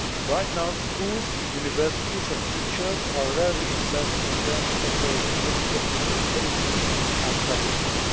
Right now schools, universities and teachers are rarely assessed in terms of their gender equality policies and practices.